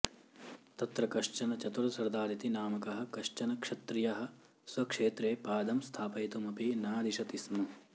तत्र कश्चन चतुर सरदार इति नामकः कश्चन क्षत्रियः स्वक्षेत्रे पादं स्थापयितुम् अपि नादिशति स्म